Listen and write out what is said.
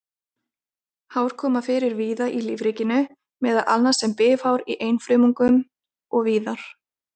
Hár koma fyrir víða í lífríkinu, meðal annars sem bifhár í einfrumungum og víðar.